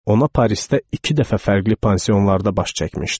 Ona Parisdə iki dəfə fərqli pansionlarda baş çəkmişdim.